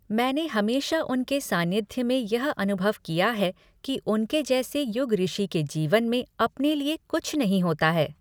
मैंने हमेशा उनके सानिध्य में यह अनुभव किया है कि उनके जैसे युगऋषि के जीवन में अपने लिए कुछ नहीं होता है।